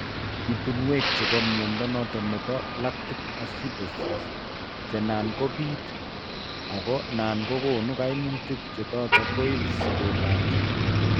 Ibinuek chebo mnyondo noton nebo lactic acidosis che nan kobiit ago nan kogon kaimutik che tot koib sobet ab chito